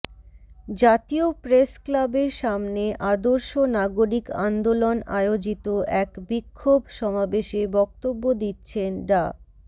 জাতীয় প্রেস ক্লাবের সামনে আদর্শ নাগরিক আন্দোলন আয়োজিত এক বিক্ষোভ সমাবেশে বক্তব্য দিচ্ছেন ডা